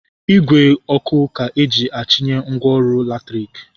Igwe ọkụ ka eji achịnye ngwaọrụ latriki